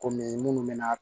Kɔmi minnu bɛ na